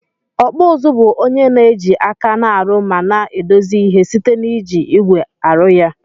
Okpụ ụzụ bu onye na eji aka na arụ ma na edozi ihe site na iji igwe arụ ya.